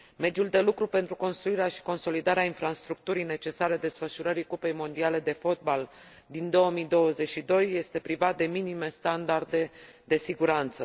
Mediul de lucru pentru construirea și consolidarea infrastructurii necesare desfășurării Cupei Mondiale de Fotbal din 2022 este privat de minime standarde de siguranță.